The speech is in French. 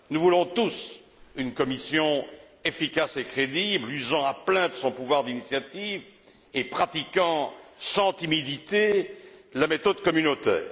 Nous voulons tous une Commission efficace et crédible, usant à plein de son pouvoir d'initiative et pratiquant sans timidité la méthode communautaire.